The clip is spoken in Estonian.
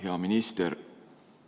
Hea minister!